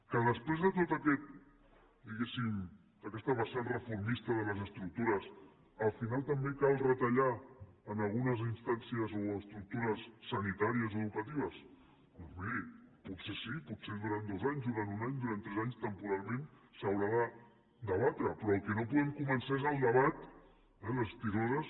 que després de tota aquesta diguéssim vessant reformista de les estructures al final també cal retallar en algunes instàncies o estructures sanitàries o educatives doncs miri potser sí potser durant dos anys durant un any durant tres anys temporalment s’haurà de debatre però el que no podem començar és el debat eh les tisores